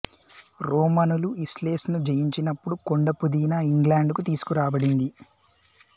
రోమనులు isles ను జయించినపుడు కొండ పుదీనా ఇంగ్లాండుకు తీసుకురాబడింది